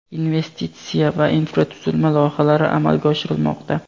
investitsiya va infratuzilma loyihalari amalga oshirilmoqda.